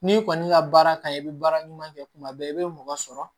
N'i kɔni ka baara kan i bɛ baara ɲuman kɛ kuma bɛɛ i bɛ mɔgɔ sɔrɔ